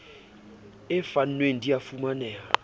e fanweng di a fumaneha